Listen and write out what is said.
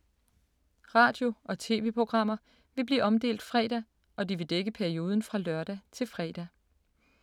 Radio- og tv-programmer vil blive omdelt fredag, og de vil dække perioden fra lørdag til fredag.